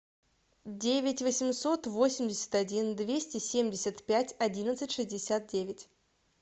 девять восемьсот восемьдесят один двести семьдесят пять одиннадцать шестьдесят девять